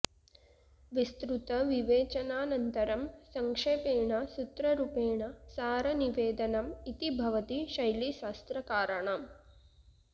विस्तृतविवेचनानन्तरं संक्षेपेण सूत्ररुपेण सारनिवेदनम् इति भवति शैली शास्त्रकाराणाम्